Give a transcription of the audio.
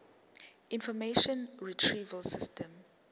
information retrieval system